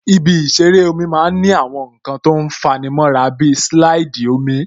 Ibi ìṣeré omi máa ń ní àwọn nǹkan tó fa'ni mọ́ra bí silaidi omi